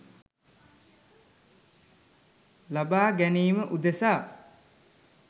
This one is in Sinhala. ලබාගැනීම උදෙසා